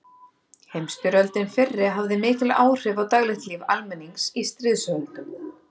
Heimsstyrjöldin fyrri hafði mikil áhrif á daglegt líf almennings í stríðslöndunum.